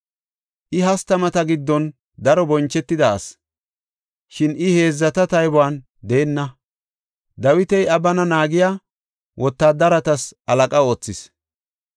I hastamata giddon daro bonchetida asi, shin I heedzata taybuwan deenna. Dawiti iya bana naagiya wotaadaretas tora mocona oothis.